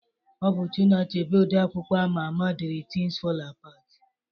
Ọ bụ Chinua Achebe, odee akwụkwọ ama ama dere Tins Fọl Apat